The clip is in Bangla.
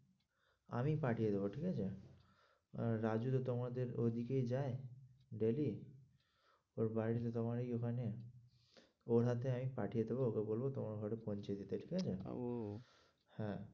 আমি পাঠিয়ে দেবো ঠিক আছে? আহ রাজু তো তোমাদের ওদিকেই যায় daily ওর বাড়ি তো তোমাদেরই ওখানে ওর হাতে আমি পাঠিয়ে দেবো, ওকে বলবো তোমার ওখানে পৌঁছে দিতে ঠিক আছে? ও হ্যাঁ।